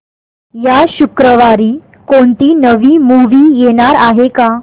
या शुक्रवारी कोणती नवी मूवी येणार आहे का